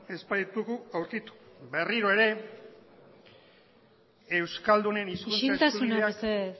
ez baitugu aurkitu berriro ere euskaldunen hizkuntza eskubideak isiltasuna mesedez